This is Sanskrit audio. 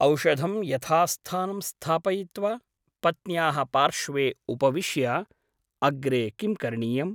औषधं यथास्थानं स्थापयित्वा पत्न्याः पार्श्वे उपविश्य ' अग्रे किं करणीयम् ?